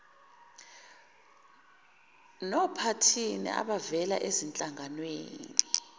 nophathini abavela ezinhlanganweni